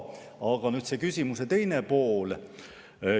Aga nüüd küsimuse teine pool.